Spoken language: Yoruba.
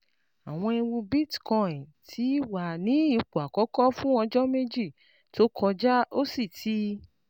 Àwọn ẹ̀wù Bitcoin ti wà ní ipò àkọ́kọ́ fún ọjọ́ méjì tó kọjá, ó sì ti